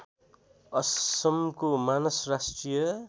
असमको मानस राष्ट्रिय